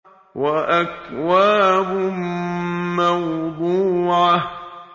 وَأَكْوَابٌ مَّوْضُوعَةٌ